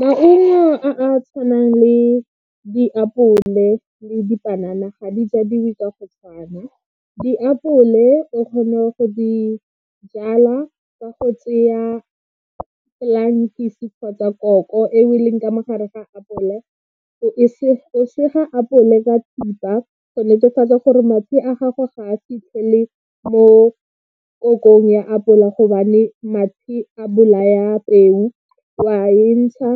Maungo a a tshwanang le diapole le dipanana ga di jwadiwe ka go tshwana. Diapole o kgona go di jalaa ka go tseya kgotsa koko eo e leng ka mo gare ga apole, sege apole ka thipa go netefatsa gore a gago ga a fitlhele mo ya apola gobane mathe a bolaya peo, wa e ntsha